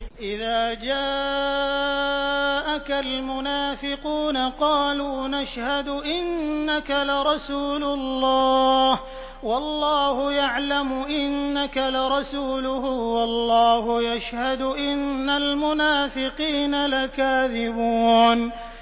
إِذَا جَاءَكَ الْمُنَافِقُونَ قَالُوا نَشْهَدُ إِنَّكَ لَرَسُولُ اللَّهِ ۗ وَاللَّهُ يَعْلَمُ إِنَّكَ لَرَسُولُهُ وَاللَّهُ يَشْهَدُ إِنَّ الْمُنَافِقِينَ لَكَاذِبُونَ